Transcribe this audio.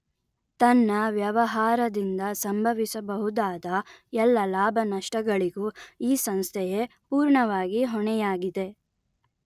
ತನ್ನ ವ್ಯವಹಾರದಿಂದ ಸಂಭವಿಸಬಹುದಾದ ಎಲ್ಲ ಲಾಭನಷ್ಟಗಳಿಗೂ ಈ ಸಂಸ್ಥೆಯೇ ಪುರ್ಣವಾಗಿ ಹೊಣೆಯಾಗಿದೆ